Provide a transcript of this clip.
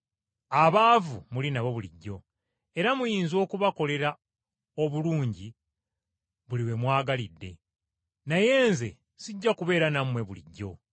Abaavu muli nabo bulijjo, era muyinza okubakolera obulungi buli we mwagalidde, naye Nze sijja kubeera nammwe bulijjo.